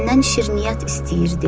Məndən şirniyyat istəyirdi.